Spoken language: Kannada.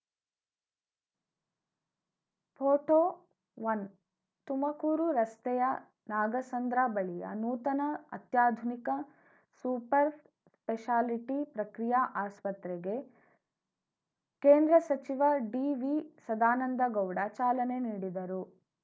ಫೋಟೋಒನ್ ತುಮಕೂರು ರಸ್ತೆಯ ನಾಗಸಂದ್ರ ಬಳಿಯ ನೂತನ ಅತ್ಯಾಧುನಿಕ ಸೂಪರ್‌ ಸ್ಪೆಷಾಲಿಟಿ ಪ್ರಕ್ರಿಯಾ ಆಸ್ಪತ್ರೆಗೆ ಕೇಂದ್ರ ಸಚಿವ ಡಿವಿಸದಾನಂದ ಗೌಡ ಚಾಲನೆ ನೀಡಿದರು